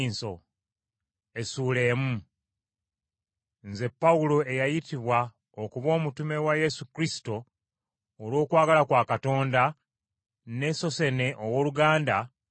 Nze Pawulo eyayitibwa okuba omutume wa Yesu Kristo olw’okwagala kwa Katonda, ne Sossene owooluganda ,